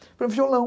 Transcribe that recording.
um violão.